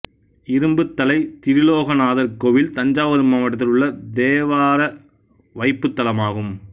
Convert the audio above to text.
இரும்புதலை திரிலோகநாதர் கோயில் தஞ்சாவூர் மாவட்டத்தில் உள்ள தேவார வைப்புத்தலமாகும்